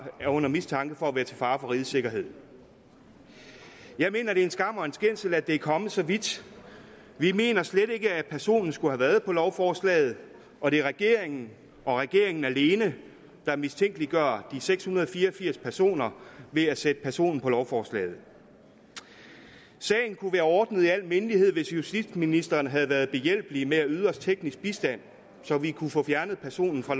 er under mistanke for at være til fare for rigets sikkerhed jeg mener det er en skam og en skændsel at det er kommet så vidt vi mener slet ikke at personen skulle have været på lovforslaget og det er regeringen og regeringen alene der mistænkeliggør de seks hundrede og fire og firs personer ved at sætte personen på lovforslaget sagen kunne være ordnet i al mindelighed hvis justitsministeren havde været behjælpelig med at yde os teknisk bistand så vi kunne få fjernet personen fra